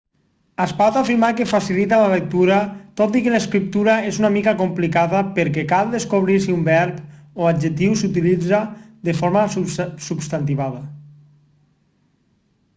es pot afirmar que facilita la lectura tot i que l'escriptura és una mica complicada perquè cal descobrir si un verb o adjectiu s'utilitza de forma substantivada